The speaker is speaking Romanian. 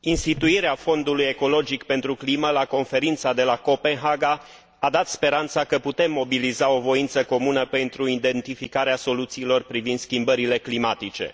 Instituirea Fondului ecologic pentru climă la Conferința de la Copenhaga a dat speranța că putem mobiliza o voință comună pentru identificarea soluțiilor privind schimbările climatice.